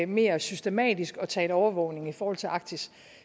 mere systematisk begynder at tale overvågning i forhold til arktis